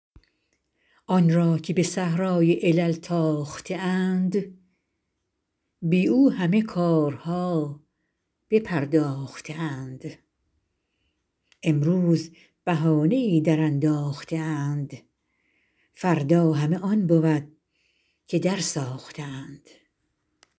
آن را که به صحرای علل تاخته اند بی او همه کارها بپرداخته اند امروز بهانه ای درانداخته اند فردا همه آن بود که درساخته اند